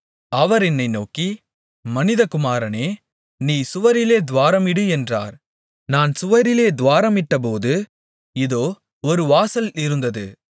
அவர் என்னை நோக்கி மனிதகுமாரனே நீ சுவரிலே துவாரமிடு என்றார் நான் சுவரிலே துவாரமிட்டபோது இதோ ஒரு வாசல் இருந்தது